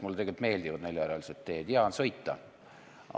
Mulle tegelikult meeldivad neljarealised teed, hea on sõita.